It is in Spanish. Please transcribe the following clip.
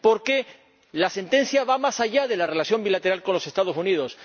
Porque la sentencia va más allá de la relación bilateral con los Estados Unidos.